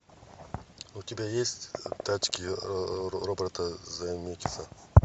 у тебя есть тачки роберта земекиса